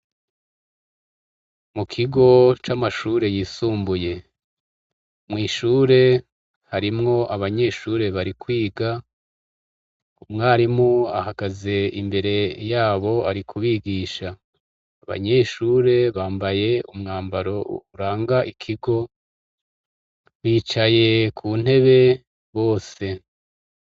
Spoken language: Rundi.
Mu kigo c'amashure yisumbuye, mwishure harimwo abanyeshure bari kwiga. Umwarimu ahagaze imbere yabo ari kubigisha. Abanyeshure bambaye umwambaro uranga ikigo, bicaye ku ntebe bose.